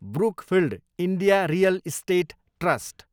Brookfield India real estate trust